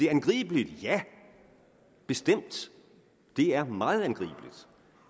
angribeligt ja bestemt det er meget angribeligt